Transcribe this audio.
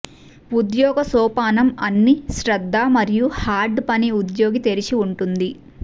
ఉద్యోగ సోపానం అన్ని శ్రద్ధ మరియు హార్డ్ పని ఉద్యోగి తెరిచి ఉంటుంది